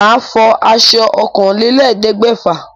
Màá fọ aṣọ ọ̀kànlélẹ́ẹ̀ẹ́dẹ́gbẹ́fà.